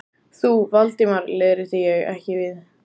Þú, Valdimar leiðrétti ég, ekki við.